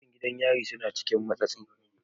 Mutan gidan yari suna cikin matsi.